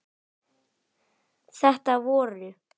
Þetta voru